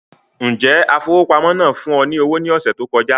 Njẹ afowópamọ́ náà fún ọ ní owó ní ọsẹ tó kọjá